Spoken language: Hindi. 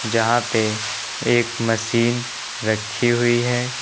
यहां पे एक मशीन रखी हुई है।